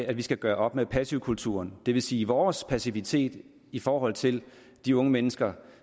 at vi skal gøre op med passivkulturen det vil sige vores passivitet i forhold til de unge mennesker